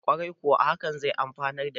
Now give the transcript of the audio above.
kwarai kuwa haka zai amfanar da jama`a